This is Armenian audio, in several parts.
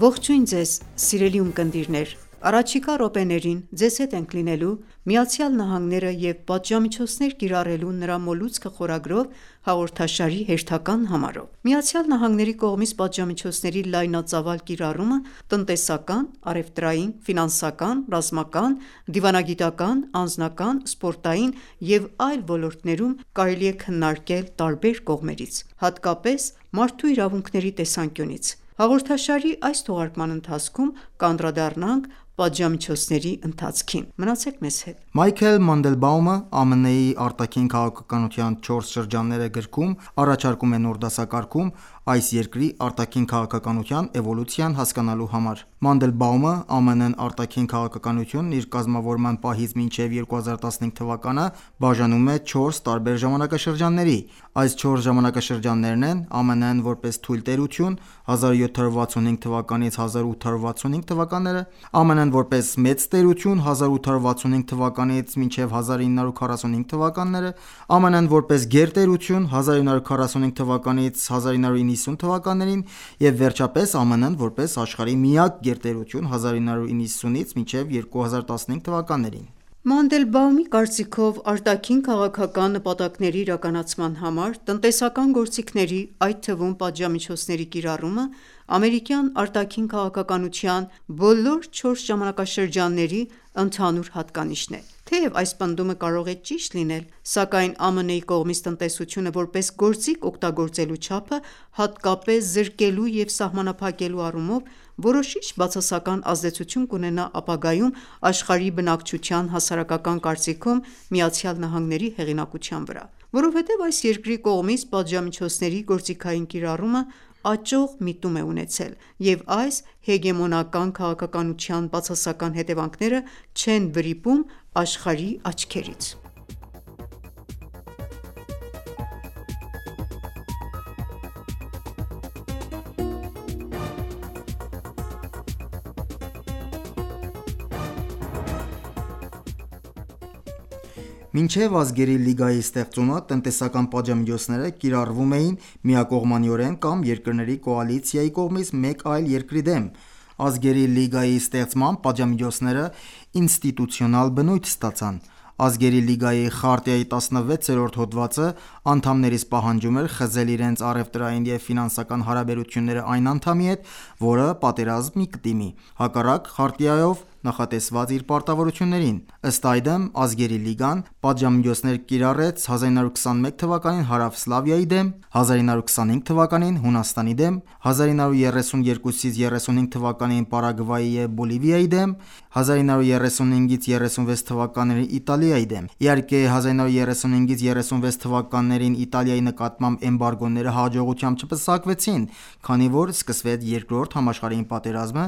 ողջույն ձեզ սիրելի ունկնդիրներ, առաջիկա րոպեներին ձեզ հետ ենք լինելու «ԱՄՆ-ն և պատժամիջոցներ կիրառելու նրա մոլուցքը» խորագրով հաղորդաշարի հերթական համարով: ԱՄՆ-ի կողմից պատժամիջոցների լայնածավալ կիրառումը տնտեսական, առևտրային, ֆինանսական, ռազմական, դիվանագիտական, անձնական, սպորտային և այլ ոլորտներում կարելի է քննարկել տարբեր կողմերից, հատկապես մարդու իրավունքների տեսանկյունից: Հաղորդաշարի այս թողարկման ընթացքում կանդրադառնանք պատժամիջոցների ընթացքին։ Մնացեք մեզ հետ: Մայքլ Մանդելբաումը (Michael Mandelbaum) «ԱՄՆ-ի արտաքին քաղաքականության չորս շրջանները» գրքում առաջարկում է նոր դասակարգում՝ այս երկրի արտաքին քաղաքականության էվոլյուցիան հասկանալու համար: Մանդելբաումը ԱՄՆ արտաքին քաղաքականությունն իր կազմավորման պահից մինչև 2015 թվականը բաժանում է չորս տարբեր ժամանակաշրջանների: Այս չորս ժամանակաշրջաններն են՝ ԱՄՆ-ն որպես թույլ տերություն՝ 1765-1865թթ., ԱՄՆ-ն որպես մեծ տերություն 1865-1945թթ. ԱՄՆ-ն որպես գերտերություն 1945-1990 թվականներին, և վերջապես ԱՄՆ-ն որպես աշխարհի միակ գերտերություն 1990-2015 թվականներին: Մանդելբաումի կարծիքով, արտաքին քաղաքական նպատակների իրականացման համար տնտեսական գործիքների, այդ թվում՝ պատժամիջոցների կիրառումը ամերիկյան արտաքին քաղաքականության բոլոր չորս ժամանակաշրջանների ընդհանուր հատկանիշն է։ Թեև այս պնդումը կարող է ճիշտ լինել, սակայն ԱՄՆ-ի կողմից տնտեսությունը որպես գործիք օգտագործելու չափը, հատկապես զրկելու և սահմանափակելու առումով, որոշիչ բացասական ազդեցություն կունենա ապագայում աշխարհի բնակչության հասարակական կարծիքում ԱՄՆ-ի հեղինակության վրա: Որովհետև այս երկրի կողմից պատժամիջոցների գործիքային կիրառումը աճող միտում է ունեցել, և այս հեգեմոնական քաղաքականության բացասական հետևանքները չեն վրիպում աշխարհի աչքերից։ Մինչև Ազգերի լիգայի ստեղծումը տնտեսական պատժամիջոցները կիրառվում էին միակողմանիորեն կամ երկրների կոալիցիայի կողմից մեկ այլ երկրի դեմ։ Ազգերի լիգայի ստեղծմամբ պատժամիջոցները ինստիտուցիոնալ բնույթ ստացան։ Ազգերի լիգայի խարտիայի 16-րդ հոդվածը անդամներից պահանջում էր խզել իրենց առևտրային և ֆինանսական հարաբերությունները այն անդամի հետ, որը պատերազմի կդիմի, հակառակ խարտիայով նախատեսված իր պարտավորություններին: Ըստ այդմ, Ազգերի լիգան պատժամիջոցներ կիրառեց 1921թ. Հարավսլավիայի դեմ, 1925թ.՝ Հունաստանին դեմ, 1932-35թթ.՝ Պարագվայի և Բոլիվիայի դեմ, 1935-36թթ.՝ Իտալիայի դեմ։ Իհարկե, 1935-36 թվականներին Իտալիայի նկատմամբ էմբարգոները հաջողությամբ չպսակվեցին, քանի որ սկսվեց Երկրորդ համաշխարհային պատերազմը,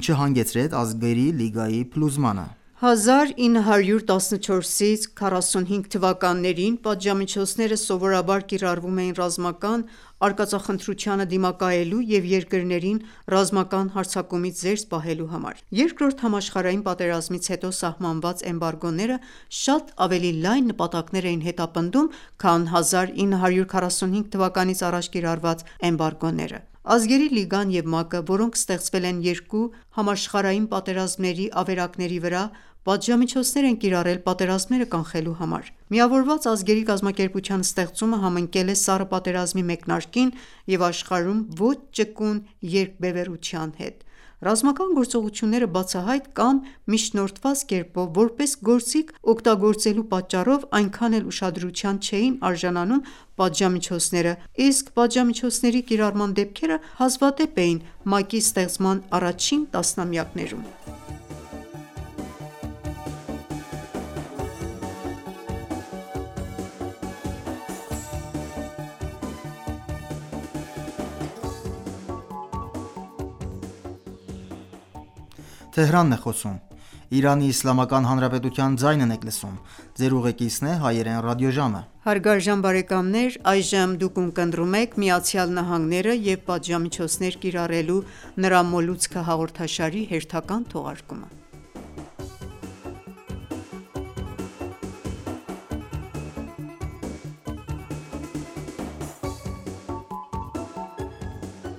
ինչը հանգեցրեց Ազգերի լիգայի փլուզմանը: 1914-ից 1945 թվականներին պատժամիջոցները սովորաբար կիրառվում էին ռազմական արկածախնդրությանը դիմակայելու և երկրներին ռազմական հարձակումից զերծ պահելու համար: Երկրորդ համաշխարհային պատերազմից հետո սահմանված էմբարգոները շատ ավելի լայն նպատակներ էին հետապնդում, քան 1945 թվականից առաջ կիրառված էմբարգոները։ Ազգերի լիգան և ՄԱԿ-ը, որոնք ստեղծվել են երկու համաշխարհային պատերազմների ավերակների վրա, պատժամիջոցներ են կիրառել պատերազմները կանխելու համար։ Միավորված ազգերի կազմակերպության ստեղծումը համընկել է սառը պատերազմի մեկնարկին և աշխարհում ոչ ճկուն երկբևեռության հետ։ Ռազմական գործողությունները բացահայտ կամ միջնորդված կերպով որպես գործիք օգտագործելու պատճառով այնքան էլ ուշադրության չէին արժանանում պատժամիջոցները, իսկ պատժամիջոցների կիրառման դեպքերը հազվադեպ էին ՄԱԿ-ի ստեղծման առաջին տասնամյակներում: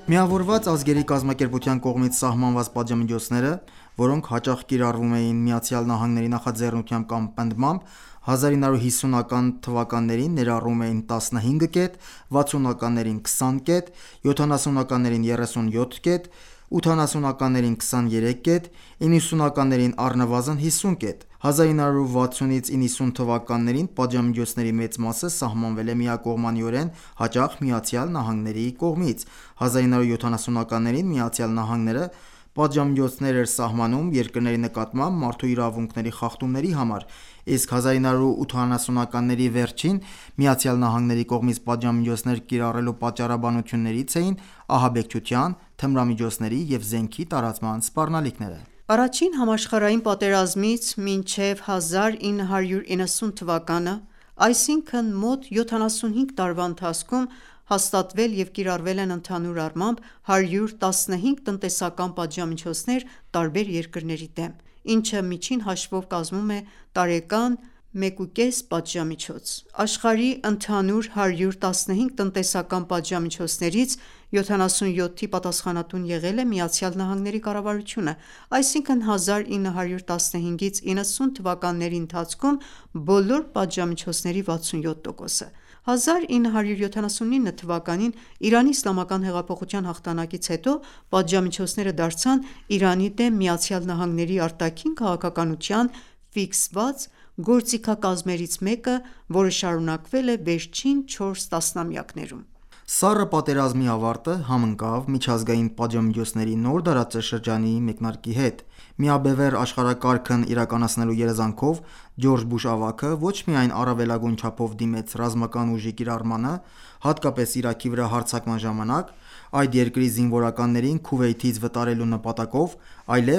Միավորված ազգերի կազմակերպության կողմից սահմանված պատժամիջոցները, որոնք հաճախ կիրառվում էին Միացյալ Նահանգների նախաձեռնությամբ կամ պնդմամբ, 1950-ական թվականներին ներառում էին 15 կետ, 60-ականներին՝ 20 կետ, 70-ականներին՝ 37 կետ, 80-ականներին՝ 23 կետ, 90-ականներին՝ առնվազն 50 կետ: 1960-1990 թվականներին պատժամիջոցների մեծ մասը սահմանվել է միակողմանիորեն, հաճախ Միացյալ Նահանգների կողմից: 1970-ականներին Միացյալ Նահանգները պատժամիջոցներ էր սահմանում երկրների նկատմամբ մարդու իրավունքների խախտումների համար, իսկ 1980-ականների վերջին Միացյալ Նահանգների կողմից պատժամիջոցներ կիրառելու պատճառաբանություններից էին ահաբեկչության, թմրամիջոցների և զենքի տարածման սպառնալիքները: Առաջին համաշխարհային պատերազմից մինչև 1990 թվականը, այսինքն՝ մոտ 75 տարվա ընթացքում, հաստատվել և կիրառվել են ընդհանուր առմամբ 115 տնտեսական պատժամիջոցներ տարբեր երկրների դեմ, ինչը միջին հաշվով կազմում է տարեկան 1,5 պատժամիջոց։ Աշխարհի՝ ընդհանուր 115 տնտեսական պատժամիջոցներից 77-ի պատասխանատուն եղել է ԱՄՆ կառավարությունը, այսինքն՝ 1915-1990 թվականների ընթացքում բոլոր պատժամիջոցների 67%-ը։ 1979թ. Իրանի իսլամական հեղափոխության հաղթանակից հետո պատժամիջոցները դարձան Իրանի դեմ ԱՄՆ արտաքին քաղաքականության ֆիքսված գործիքակազմերից մեկը, որը շարունակվել է վերջին 4 տասնամյակներում։ Սառը պատերազմի ավարտը համընկավ միջազգային պատժամիջոցների նոր դարաշրջանի մեկնարկի հետ։ Միաբևեռ աշխարհակարգն իրականացնելու երազանքով Ջորջ Բուշ ավագը ոչ միայն առավելագույն չափով դիմեց ռազմական ուժի կիրառմանը, հատկապես Իրաքի վրա հարձակման ժամանակ, այդ երկրի զինվորականներին Քուվեյթից վտարելու նպատակով, այլև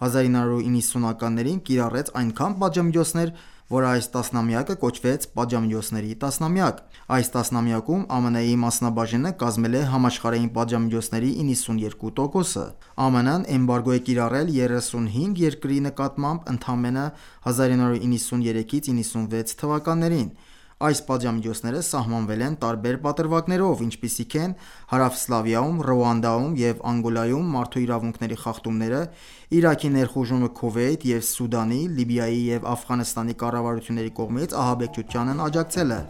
1990-ականներին կիրառեց այնքան պատժամիջոցներ, որ այս տասնամյակը կոչվեց «Պատժամիջոցների տասնամյակ»։ Այս տասնամյակում ԱՄՆ-ի մասնաբաժինը կազմել է համաշխարհային պատժամիջոցների 92%-ը։ ԱՄՆ-ն էմբարգո է կիրառել 35 երկրի նկատմամբ ընդամենը 1993-96 թվականներին։ Այս պատժամիջոցները սահմանվել են տարբեր պատրվակներով, ինչպիսիք են Հարավսլավիայում, Ռուանդայում և Անգոլայում մարդու իրավունքների խախտումները, Իրաքի ներխուժումը Քուվեյթ և Սուդանի, Լիբիայի և Աֆղանստանի կառավարությունների կողմից ահաբեկչությանն աջակցելը: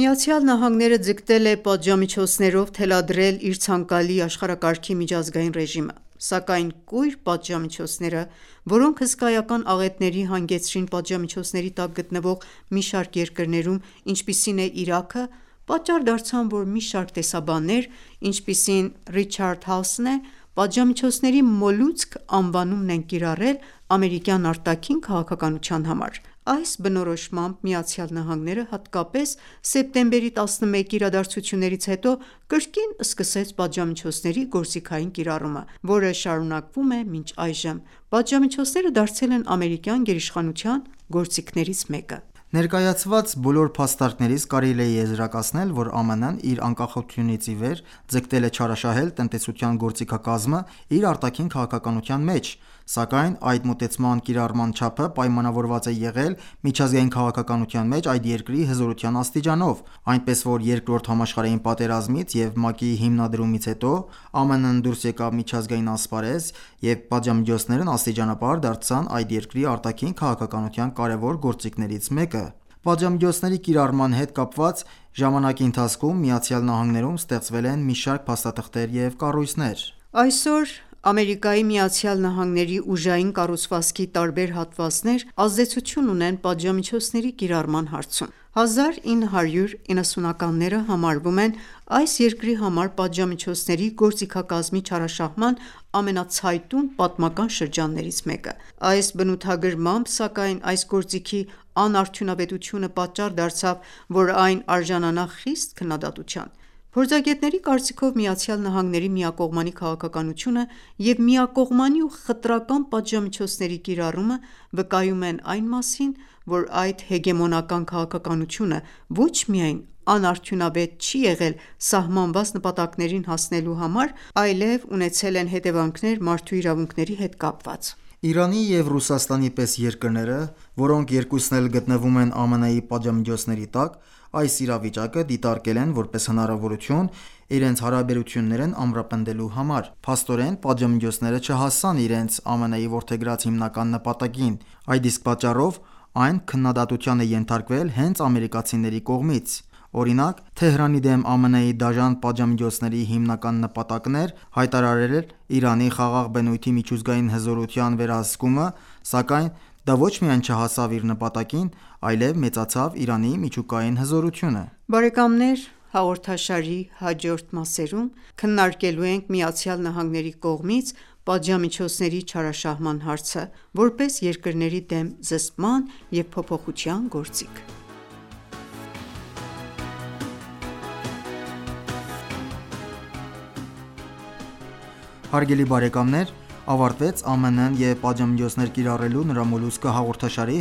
ԱՄՆ-ն ձգտել է պատժամիջոցներով թելադրել իր ցանկալի աշխարհակարգի միջազգային ռեժիմը, սակայն կույր պատժամիջոցները, որոնք հսկայական աղետների հանգեցրին պատժամիջոցների տակ գտնվող մի շարք երկրներում, ինչպիսին է Իրաքը, պատճառ դարձան, որ մի շարք տեսաբաններ, ինչպիսին Ռիչարդ Հաասն է, «պատժամիջոցների մոլուցք» անվանումն են կիրառել ամերիկյան արտաքին քաղաքականության համար: Այս բնորոշմամբ ԱՄՆ-ն հատկապես սեպտեմբերի 11-ի իրադարձություններից հետո կրկին սկսեց պատժամիջոցների գործիքային կիրառումը, որը շարունակվում է մինչ այժմ: Պատժամիջոցները դարձել են ամերիկյան գերիշխանության գործիքներից մեկը։ Ներկայացված բոլոր փաստարկներից կարելի է եզրակացնել, որ ԱՄՆ-ն իր անկախությունից ի վեր ձգտել է չարաշահել տնտեսության գործիքակազմը իր արտաքին քաղաքականության մեջ, սակայն այդ մոտեցման կիրառման չափը պայմանավորված է եղել է միջազգային քաղաքականության մեջ այդ երկրի հզորության աստիճանով, այնպես որ Երկրորդ համաշխարհային պատերազմից և ՄԱԿ-ի հիմնադրումից հետո ԱՄՆ-ն դուրս եկավ միջազգային ասպարեզ և պատժամիջոցներն աստիճանաբար դարձան այդ երկրի արտաքին քաղաքականության կարևոր գործիքներից մեկը։ Պատժամիջոցների կիրառման հետ կապված ժամանակի ընթացքում Միացյալ Նահանգներում ստեղծվել են մի շարք փաստաթղթեր և կառույցներ։ Այսօր Ամերիկայի Միացյալ Նահանգների ուժային կառուցվածքի տարբեր հատվածներ ազդեցություն ունեն պատժամիջոցների կիրառման հարցում։ 1990-ականները համարվում են այս երկրի համար պատժամիջոցների գործիքակազմի չարաշահման ամենացայտուն պատմական շրջաններից մեկը։ Այս բնութագրմամբ, սակայն, այս գործիքի անարդյունավետությունը պատճառ դարձավ, որ այն արժանանա խիստ քննադատության։ Փորձագետների կարծիքով՝ Միացյալ Նահանգների միակողմանի քաղաքականությունը և միակողմանի ու խտրական պատժամիջոցների կիրառումը վկայում են այն մասին, որ այդ հեգեմոնական քաղաքականությունը ոչ միայն անարդյունավետ չի եղել սահմանված նպատակներին հասնելու համար, այլև ունեցել են հետևանքներ մարդու իրավունքների հետ կապված։ Իրանի և Ռուսաստանի պես երկրները, որոնք երկուսն էլ գտնվում են ԱՄՆ պատժամիջոցների տակ, այս իրավիճակը դիտարկել են որպես հնարավորություն՝ իրենց հարաբերություններն ամրապնդելու համար։ Փաստորեն, պատժամիջոցները չհասան իրենց ԱՄՆ-ի որդեգրած հիմնական նպատակին, այդ իսկ պատճառով այն քննադատության է ենթարկվել հենց ամերիկացիների կողմից։ Օրինակ, Թեհրանի դեմ ԱՄՆ-ի դաժան պատժամիջոցների հիմնական նպատակն էր հայտարարվել Իրանի խաղաղ բնույթի միջուկային հզորության վերահսկումը, սակայն դա ոչ միայն չհասավ իր նպատակին, այլեւ մեծացավ Իրանի միջուկային հզորությունը։ Բարեկամներ, հաղորդաշարի հաջորդ մասերում քննարկելու ենք ԱՄՆ-ի կողմից պատժամիջոցների չարաշահման հարցը՝ որպես երկրների դեմ զսպման և փոփոխության գործիք։ Հարգելի ունկնդիրներ, ավարտվեց «ԱՄՆ-ն և պատժամիջոցներ կիրառելու նրա մոլուցքը» հաղորդաշարի